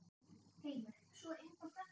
Heimir: Svo einfalt er það?